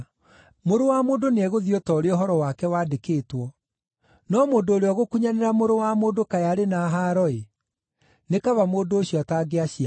Mũrũ wa Mũndũ nĩegũthiĩ o ta ũrĩa ũhoro wake wandĩkĩtwo. No mũndũ ũrĩa ũgũkunyanĩra Mũrũ wa Mũndũ kaĩ arĩ na haaro-ĩ! Nĩ kaba mũndũ ũcio atangĩaciarirwo.”